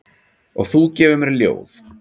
Og þú gefur mér ljóð.